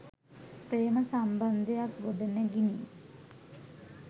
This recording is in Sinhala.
ප්‍රේම සම්බන්ධයක්‌ ගොඩනැගිනි.